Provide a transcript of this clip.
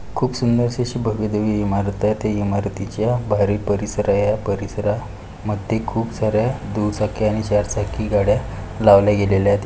खूप सुंदर सी अशी भव्यदिव्य इमारत आहे. त्या इमारतीच्या बाहेरील परिसर आहे. या परिसरा मध्ये खूप सार्‍या दुचक्या आणि चारचक्या गाड्या लावल्या गेलेल्यात.